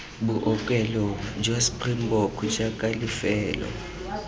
bookelo jwa springbok jaaka lefelo